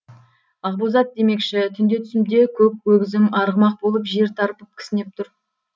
ақбоз ат демекші түнде түсімде көк өгізім арғымақ болып жер тарпып кісінеп тұр